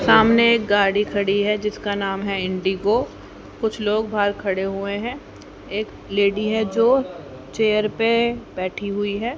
सामने एक गाड़ी खड़ी है जिसका नाम है इंडिगो कुछ लोग बाहर खड़े हुए हैं एक लेडी है जो चेयर पे बैठी हुई है।